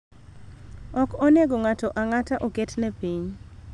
Ok onego ng�ato ang�ata oketne piny.